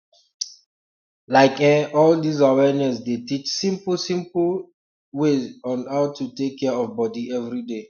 like eh all dis awareness dey teach simple simple um way on how to take care of body everyday